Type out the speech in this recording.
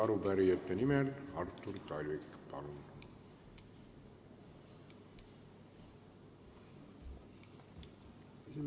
Arupärijate nimel Artur Talvik, palun!